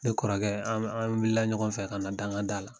Ne kɔrɔkɛ an an wulila ɲɔgɔn fɛ ka na danga da la